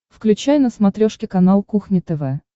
включай на смотрешке канал кухня тв